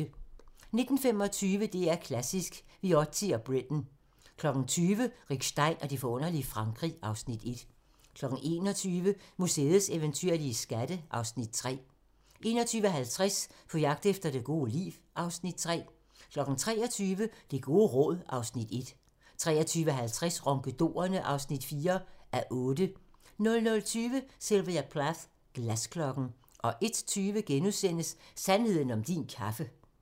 19:25: DR2 Klassisk: Viotti & Britten 20:00: Rick Stein og det forunderlige Frankrig (Afs. 1) 21:00: Museets eventyrlige skatte (Afs. 3) 21:50: På jagt efter det gode liv (Afs. 3) 23:00: Det gode råd (Afs. 1) 23:50: Ronkedorerne (4:8) 00:20: Sylvia Plath - Glasklokken 01:20: Sandheden om din kaffe *